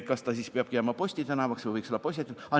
Kas see peabki jääma Posti tänavaks või võiks olla Possieti tänav?